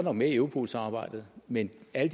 er med i europol samarbejdet men at